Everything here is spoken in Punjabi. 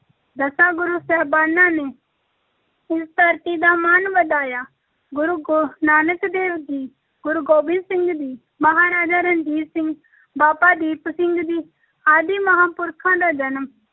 ਦਸਾਂ ਗੁਰੂ ਸਾਹਿਬਾਨਾਂ ਨੇ ਇਸ ਧਰਤੀ ਦਾ ਮਾਣ ਵਧਾਇਆ, ਗੁਰੂ ਗੋ~ ਨਾਨਕ ਦੇਵ ਜੀ, ਗੁਰੂ ਗੋਬਿੰਦ ਸਿੰਘ ਜੀ, ਮਹਾਰਾਜਾ ਰਣਜੀਤ ਸਿੰਘ ਬਾਬਾ ਦੀਪ ਸਿੰਘ ਜੀ ਆਦਿ ਮਹਾਪੁਰਖਾਂ ਦਾ ਜਨਮ